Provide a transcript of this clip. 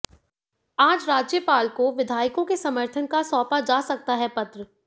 आज राज्यपाल को विधायकों के समर्थन का सौंपा जा सकता है पत्र